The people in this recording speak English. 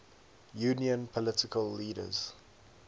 union political leaders